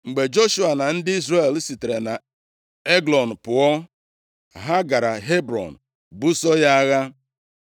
Mgbe Joshua na ndị Izrel sitere nʼEglọn pụọ, ha gara Hebrọn buso ya agha.